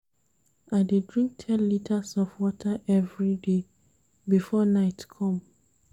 I dey drink ten litres of water everyday before night come.